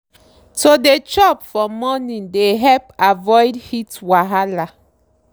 to dey chop for morning they helped avoid heat wahala.